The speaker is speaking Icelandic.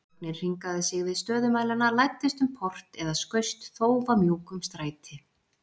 Þögnin hringaði sig við stöðumælana, læddist um port eða skaust þófamjúk um stræti.